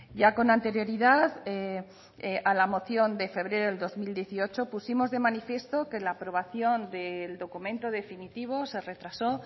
ya con anterioridad a la moción de febrero del dos mil dieciocho pusimos de manifiesto que la aprobación del documento definitivo se retrasó